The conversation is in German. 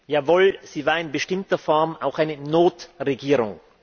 Jawohl, sie war in bestimmter Form auch eine Notregierung.